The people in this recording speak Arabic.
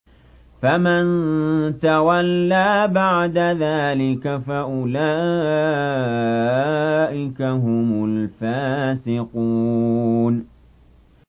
فَمَن تَوَلَّىٰ بَعْدَ ذَٰلِكَ فَأُولَٰئِكَ هُمُ الْفَاسِقُونَ